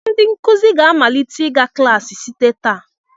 Ndị nkụzi ga-amalite ịga klaasị site taa.